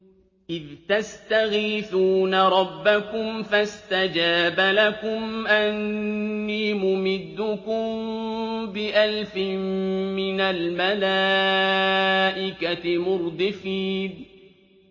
إِذْ تَسْتَغِيثُونَ رَبَّكُمْ فَاسْتَجَابَ لَكُمْ أَنِّي مُمِدُّكُم بِأَلْفٍ مِّنَ الْمَلَائِكَةِ مُرْدِفِينَ